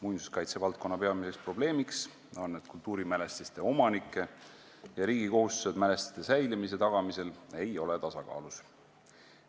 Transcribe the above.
Muinsuskaitse valdkonna peamine probleem on, et kultuurimälestiste omanike ja riigi kohustused mälestiste säilimise tagamisel ei ole tasakaalus.